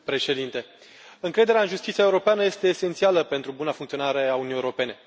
Domnule președinte, încrederea în justiția europeană este esențială pentru buna funcționare a Uniunii Europene.